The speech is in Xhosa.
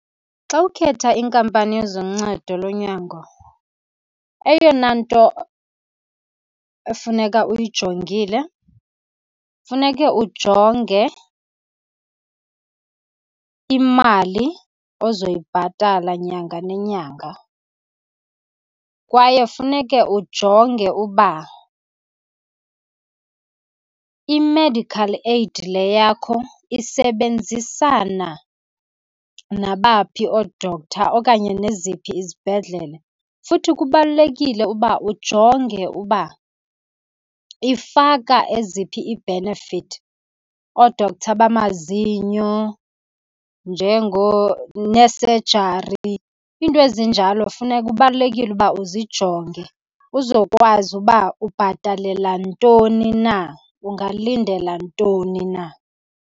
Xa ukhetha iinkampani zoncedo lonyango, eyona nto efuneka uyijongile funeke ujonge imali ozoyibhatala nyanga nenyanga. Kwaye funeke ujonge uba i-medical aid le yakho isebenzisana nabaphi oo-doctor okanye neziphi izibhedlele. Futhi kubalulekile uba ujonge ukuba ifaka eziphi ii-benefit, oo-doctor bamazinyo nee-surgery. Iinto ezinjalo , kubalulekile ukuba uzijonge uzokwazi uba ubhatalela ntoni na, ungalindela ntoni na.